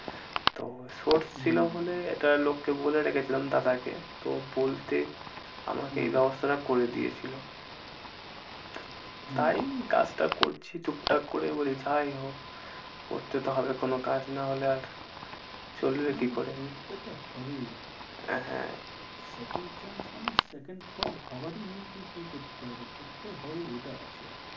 করতে তো হবে কোনো কাজ না হলে আর চলবে কি করে? করতে তো হবেই। হ্যাঁ, second chance মানে second thought ভাবারই নেইকি, কি করতে হবে? করতে হবেই এটা আছে।